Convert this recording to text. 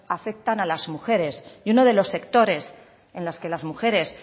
afectan a las mujeres y unos de los sectores en las que las mujeres